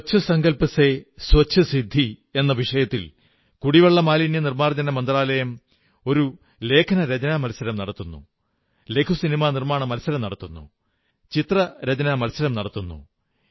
സ്വച്ഛ് സങ്കല്പ് സേ സ്വച്ഛ് സിദ്ധി എന്ന വിഷയത്തിൽ കുടിവെള്ള മാലിന്യനിർമ്മാർജ്ജനമന്ത്രാലയം ഒരു ലേഖനരചനാ മത്സരം നടത്തുന്നു ലഘുസിനിമാ നിർമ്മാണ മത്സരം നടത്തുന്നു ചിത്രരചനാമത്സരം നടത്തുന്നു